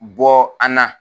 Bɔ an na